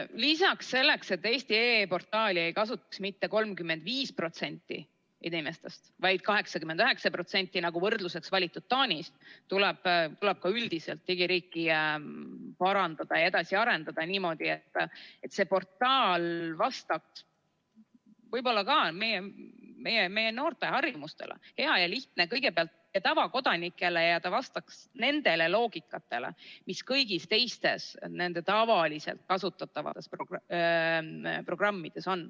Lisaks, selleks, et eesti.ee portaali ei kasutaks mitte 35% inimestest, vaid 89%, nagu võrdluseks valitud Taanis, tuleb ka üldiselt digiriiki parandada ja edasi arendada niimoodi, et see portaal vastaks ka noorte harjumustele, et ta oleks hea ja lihtne kõigepealt tavakodanikele, ja ta vastaks sellele loogikale, mis on kõigis teistes nende tavaliselt kasutatavates programmides.